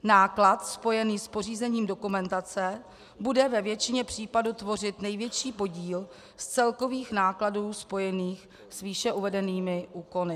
Náklad spojený s pořízením dokumentace bude ve většině případů tvořit největší podíl z celkových nákladů spojených s výše uvedenými úkony.